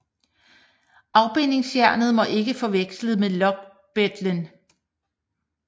Afbindingsjernet må ikke forveksles med lokbejtel